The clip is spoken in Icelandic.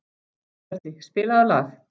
Sörli, spilaðu lag.